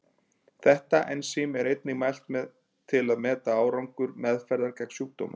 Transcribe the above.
Þetta ensím er einnig mælt til að meta árangur meðferðar gegn sjúkdómnum.